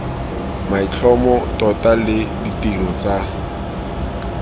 maitlhomo tota le ditiro tsa